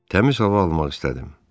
Təmiz hava almaq istədim.